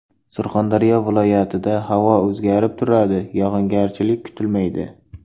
Surxondaryo viloyat ida havo o‘zgarib turadi, yog‘ingarchilik kutilmaydi.